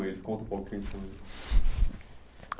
Eles, conta um pouco quem são eles.